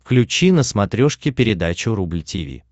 включи на смотрешке передачу рубль ти ви